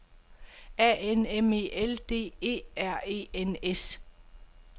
A N M E L D E R E N S